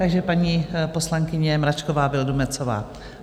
Takže paní poslankyně Mračková Vildumetzová.